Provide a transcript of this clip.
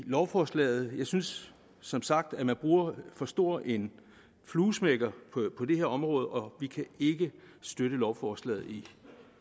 lovforslaget jeg synes som sagt at man bruger for stor en fluesmækker på det her område og vi kan ikke støtte lovforslaget i